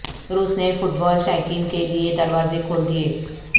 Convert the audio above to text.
روس نے فٹبال شائقین کے لیے دروازے کھول دیے